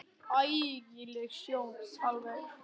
Ægi leg sjón alveg.